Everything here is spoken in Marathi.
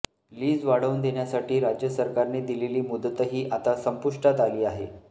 लीज वाढवून देण्यासाठी राज्य सरकारने दिलेली मुदतही आता संपुष्टात आली आहे